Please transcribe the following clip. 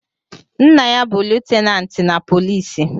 Nna ya bu lutenanti na poliisi